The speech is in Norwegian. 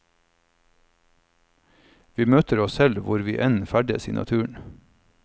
Vi møter oss selv hvor vi enn ferdes i naturen.